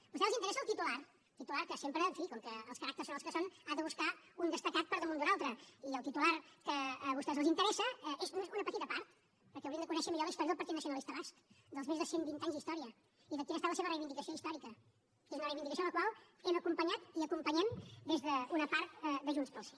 a vostès els interessa el titular titular que sempre en fi com que els caràcters són els que són ha de buscar un destacat per damunt d’un altre i el titular que a vostès els interessa n’és només una petita part perquè haurien de conèixer millor la història del partit nacionalista basc dels més de cent vint anys d’història i de quina ha estat la seva reivindicació històrica que és una reivindicació a la qual hem acompanyat i acompanyem des d’una part de junts pel sí